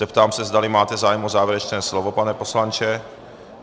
Zeptám se, zdali máte zájem o závěrečné slovo, pane poslanče.